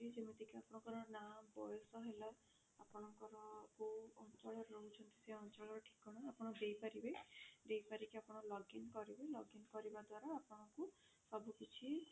ଯେମିତି କି ଆପଣଙ୍କର ନା ବୟସ ହେଲା ଆପଣଙ୍କର କୋଉ ଅଞ୍ଚଳରେ ରହୁଛନ୍ତି ସେଇ ଅଞ୍ଚଳର ଠିକଣା ଆପଣ ଦେଇ ପାରିବେ ଦେଇସାରିକି ଆପଣ login କରିବେ login କରିବା ଦ୍ଵାରା ଆପଣଙ୍କୁ ସବୁ କିଛି